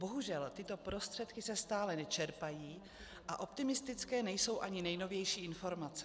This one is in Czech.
Bohužel, tyto prostředky se stále nečerpají a optimistické nejsou ani nejnovější informace.